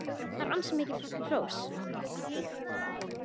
Það er ansi mikið hrós!